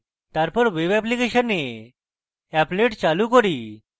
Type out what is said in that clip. তারপর webঅ্যাপ্লিকেশনে applet চালু করি